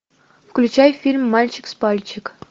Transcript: включай фильм мальчик с пальчик